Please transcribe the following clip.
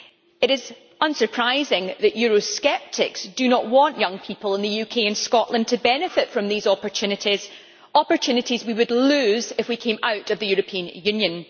It is unsurprising that Eurosceptics do not want young people in the UK and Scotland to benefit from these opportunities opportunities we would lose if we came out of the European Union.